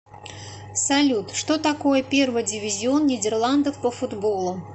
салют что такое первый дивизион нидерландов по футболу